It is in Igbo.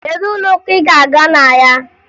Kedu ụlọụka ị ga-aga na ya?